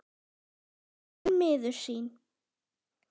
spyr hann miður sín.